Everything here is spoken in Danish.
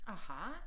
Aha